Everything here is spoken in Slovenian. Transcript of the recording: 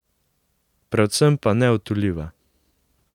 Predvsem pa neodtujljiva.